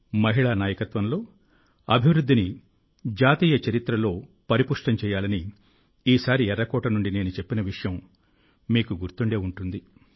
మహిళా నాయకత్వ అభివృద్ధిని జాతీయ చరిత్ర రూపంలో పటిష్టం చేయాలని ఈసారి ఎర్రకోట నుండి నేను చెప్పిన విషయం ఈసారి మీకు గుర్తుండే ఉంటుంది